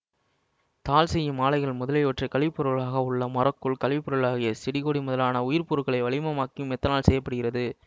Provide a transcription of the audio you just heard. தாள் செய்யும் ஆலைகள் முதலிவற்றில் கழிவுப்பொருளாக உள்ள மரக்கூழ் கழிவுப்பொருளாகிய செடிகொடி முதலான உயிர்ப்பொருள்களை வளிமமாக்கியும் மெத்தனால் செய்ய படுகிறது